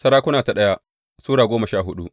daya Sarakuna Sura goma sha hudu